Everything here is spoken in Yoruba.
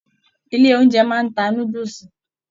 Ilé oúnjẹ máa n ta núdúsí.